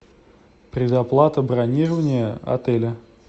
предоплата бронирования отеля